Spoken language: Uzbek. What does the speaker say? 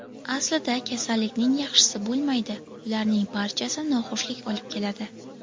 Aslida kasallikning yaxshisi bo‘lmaydi, ularning barchasi noxushlik olib keladi.